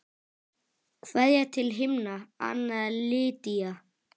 Kveðja til himna, Anna Lydía.